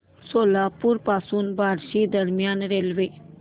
सोलापूर पासून बार्शी दरम्यान रेल्वे